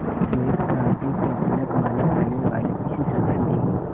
श्वेत क्रांति के जनक माने जाने वाले इस शख्स ने